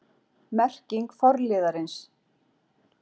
Merking forliðarins